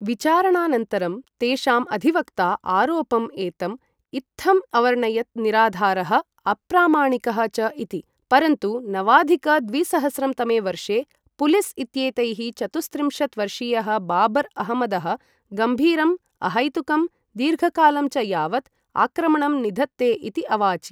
विचारणानन्तरं तेषाम् अधिवक्ता आरोपम् एतम् इत्थम् अवर्णयत् निराधारः अप्रामाणिकः च इति, परन्तु नवाधिक द्विसहस्रं तमे वर्षे पुलिस् इत्येतैः चतुस्त्रिंशत् वर्षीयः बाबर् अहमदः गम्भीरं, अहैतुकं, दीर्घकालं च यावत् आक्रमणं निधत्ते इति अवाचि।